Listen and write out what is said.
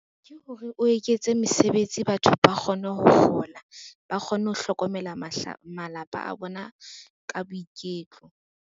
Ke hore o eketse mesebetsi batho ba kgone ho kgola, ba kgone ho hlokomela malapa a bona ka boiketlo.